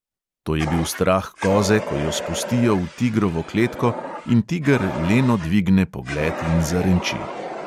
To je bil strah koze, ko jo spustijo v tigrovo kletko in tiger leno dvigne pogled in zarenči.